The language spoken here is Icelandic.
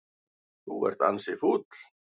Þú ert ansi fúll.